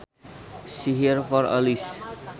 See here for a list